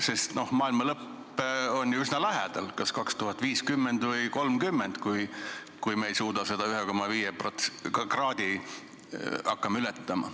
Sest noh, maailma lõpp on ju üsna lähedal, kas 2050 või 2030, kui me seda 1,5 kraadi hakkame ületama.